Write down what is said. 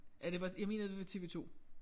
Ja det var jeg mener det var TV2